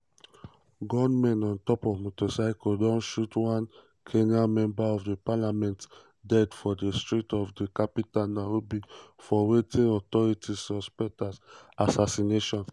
gunmen on top motorcycle don shoot one kenyan member of parliament dead for di streets of di capital nairobi for wetin authorities suspect as assassination.